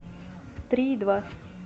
три и два